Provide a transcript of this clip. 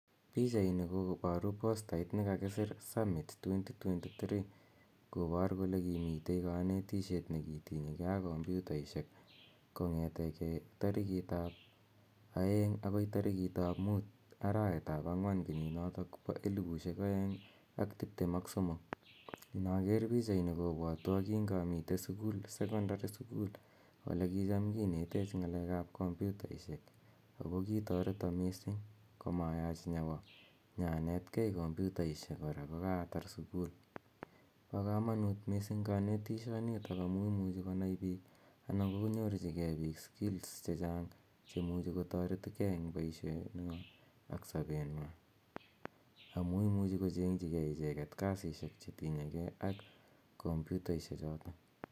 Pichainj koparu postait ne kakisir kole summit 2023 kopar kole kimitei kanetishet ne kitinye gei ak kompyutaishek kong'ete gei tariikit ap aeeng' akoi tarikit ap muut, arawet ap ang'wan kenyinotok po elipushek aeng' ak tiptem ak somok. Inaker pichaini kopwatwa kingamitei suku, sekondari sukul ole kicham kinetech ng'alek ap komputaishek, ako kitareto missing' koma yach nyawa ipanet gei ng'alek ap komputaishek kokaatar sukul. Pa kamanut missing' kanetishonitok amu imuchi konai piik anan konyorchigei piik skills che chang' che imuchi ktaret gei eng' poishenwa ak sapenwa amu imuchi kocheng'chigei icheget kasishek che tinye gei ak komputaishechotok.